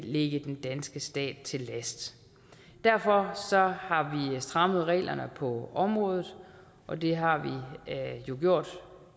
ligge den danske stat til last derfor har vi strammet reglerne på området og det har vi jo gjort